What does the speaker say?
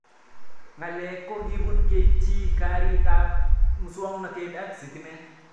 Ng'alek ko kipun keitchi, karik ab muswog'natet ak sitimet